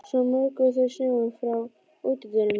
Svo mokuðu þau snjóinn frá útidyrunum.